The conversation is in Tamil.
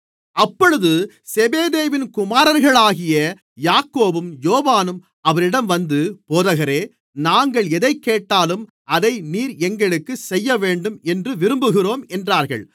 அப்பொழுது செபெதேயுவின் குமாரர்களாகிய யாக்கோபும் யோவானும் அவரிடம் வந்து போதகரே நாங்கள் எதைக்கேட்டாலும் அதை நீர் எங்களுக்குச் செய்யவேண்டும் என்று விரும்புகிறோம் என்றார்கள்